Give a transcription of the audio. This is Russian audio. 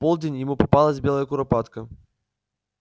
в полдень ему попалась белая куропатка